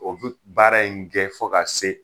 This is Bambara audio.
O bɛ baara in gɛn fo ka se